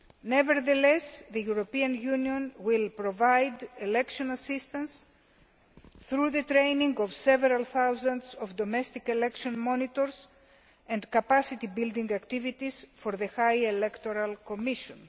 Nevertheless, the EU will provide election assistance through the training of several thousand domestic election monitors and capacity building activities for the High Electoral Commission.